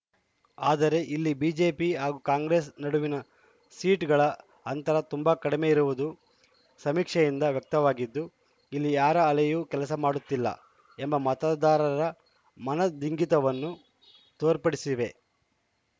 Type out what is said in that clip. ಆದರೆ ಇಲ್ಲಿ ಬಿಜೆಪಿ ಹಾಗೂ ಕಾಂಗ್ರೆಸ್‌ ನಡುವಿನ ಸೀಟುಗಳ ಅಂತರ ತುಂಬಾ ಕಡಿಮೆ ಇರುವುದು ಸಮೀಕ್ಷೆಯಿಂದ ವ್ಯಕ್ತವಾಗಿದ್ದು ಇಲ್ಲಿ ಯಾರ ಅಲೆಯೂ ಕೆಲಸ ಮಾಡುತ್ತಿಲ್ಲ ಎಂಬ ಮತದಾರರ ಮನದಿಂಗಿತವನ್ನು ತೋರ್ಪಡಿಸಿವೆ